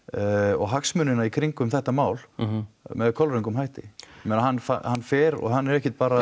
og hagsmunina í kringum þetta mál með kolröngum hætti ég meina hann hann fer og hann er ekkert bara